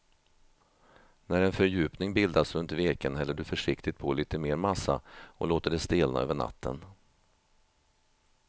När en fördjupning bildats runt veken häller du försiktigt på lite mer massa och låter det stelna över natten.